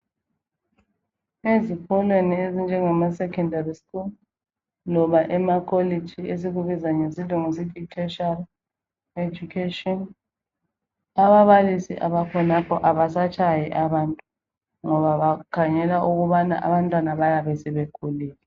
Ezikolweni ezinjengamasecondary school loba emakolitshi esikubiza ngesilungu sithi yitertiary education ababalisi abakhonapho abasatshayi abantu ngoba bakhangela ukubana abantwana bayabe sebekhulile.